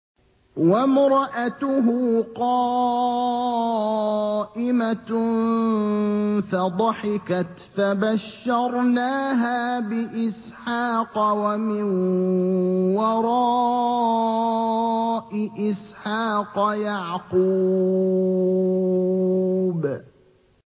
وَامْرَأَتُهُ قَائِمَةٌ فَضَحِكَتْ فَبَشَّرْنَاهَا بِإِسْحَاقَ وَمِن وَرَاءِ إِسْحَاقَ يَعْقُوبَ